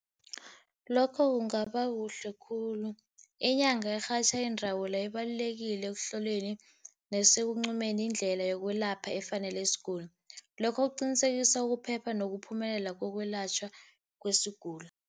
Lokho kungaba kuhle khulu. Inyanga erhatjha iindawula ibalulekile ekuhloleni nasekuncumeni indlela yokwelapha efanele isiguli. Lokho kuqinisekisa ukuphepha wokuphumelela kokwelatjhwa kwesiguli.